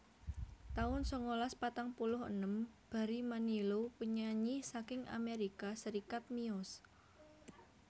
taun sangalas patang puluh enem Barry Manilow penyanyi saking Amerika Serikat miyos